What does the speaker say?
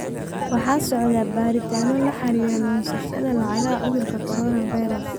Waxaa socda baaritaanno la xiriira lunsashada lacagaha cudurka Coronavirus.